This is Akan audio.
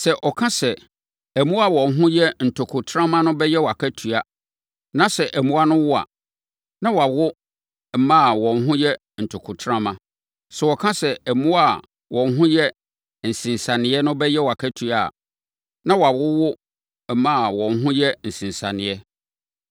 Sɛ ɔka sɛ, ‘Mmoa a wɔn ho yɛ ntokontrama no bɛyɛ wʼakatua,’ na sɛ mmoa no wo a, na wɔawo mma a wɔn ho yɛ ntokontrama. Sɛ ɔka sɛ, ‘Mmoa a wɔn ho yɛ nsensaneɛ no bɛyɛ wʼakatua’ a, na wɔawowo mma a wɔn ho yɛ nsensaneɛ.